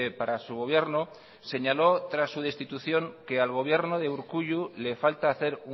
para su gobierno señaló tras su destitución que al gobierno de urkullu le falta hacer